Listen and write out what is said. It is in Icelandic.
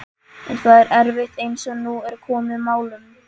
En það er erfitt, eins og nú er komið málum.